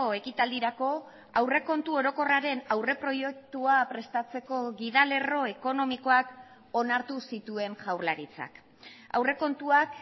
ekitaldirako aurrekontu orokorraren aurreproiektua prestatzeko gida lerro ekonomikoak onartu zituen jaurlaritzak aurrekontuak